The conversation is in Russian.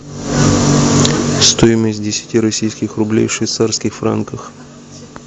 стоимость десяти российских рублей в швейцарских франках